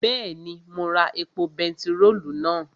Bẹ́ẹ̀ni, mo ra epo bentiróòlù náà